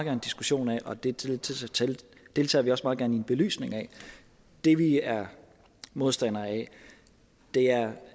en diskussion af og det deltager vi også meget en belysning af det vi er modstandere af er